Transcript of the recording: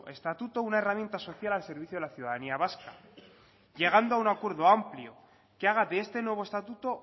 estatuto una herramienta social al servicio de la ciudadanía vasca llegando a un acuerdo amplio que haga de este nuevo estatuto